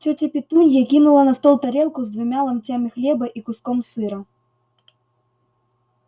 тётя петунья кинула на стол тарелку с двумя ломтями хлеба и куском сыра